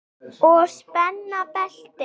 Og spenna beltin.